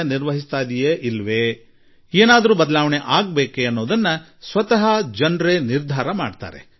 ಸರ್ಕಾರ ಸರಿಯಾಗಿ ಮಾಡುತ್ತಿದೆಯೊ ತಪ್ಪು ಮಾಡುತ್ತಿದೆಯೊ ಒಳ್ಳೆಯನ್ನು ಮಾಡುತ್ತಿದೆಯೊ ಕೆಟ್ಟದ್ದನ್ನು ಮಾಡುತ್ತಿದೆಯೊ ಎಂಬುದನ್ನು ಅದು ತೀರ್ಮಾನಿಸುತ್ತಿದೆ